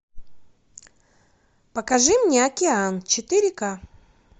покажи мне океан четыре ка